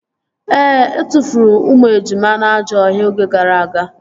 Ee, etufuru ụmụ ejima na ajọ ọhịa oge gara aga